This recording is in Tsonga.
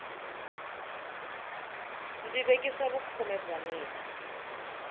ndzi vekisa vukhume bya mina